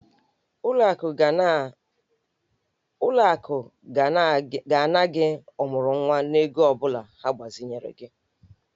Ụlọ akụ ga-ana gị ọmụrụnwa n'ego ọ bụla ha gbazinyere gị.